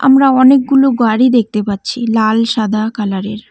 আমরা অনেকগুলো গাড়ি দেখতে পাচ্ছি লাল সাদা কালার -এর।